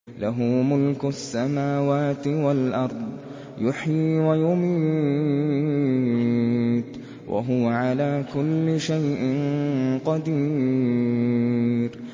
لَهُ مُلْكُ السَّمَاوَاتِ وَالْأَرْضِ ۖ يُحْيِي وَيُمِيتُ ۖ وَهُوَ عَلَىٰ كُلِّ شَيْءٍ قَدِيرٌ